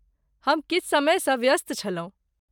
हम किछु समयसँ व्यस्त छलहुँ।